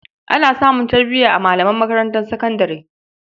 Ana samun tarbiya a malaman makarantar sakandare.